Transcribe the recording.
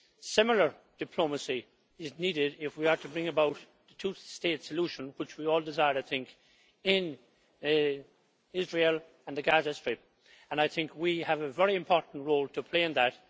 Similar diplomacy is needed if we are to bring about the two state solution, which we all desire, I think, in Israel and the Gaza Strip, and I think we have a very important role to play in that.